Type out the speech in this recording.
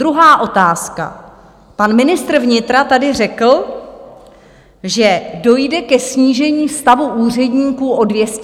Druhá otázka: pan ministr vnitra tady řekl, že dojde ke snížení stavu úředníků o 200 míst.